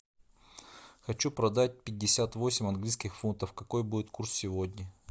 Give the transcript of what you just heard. хочу продать пятьдесят восемь английских фунтов какой будет курс сегодня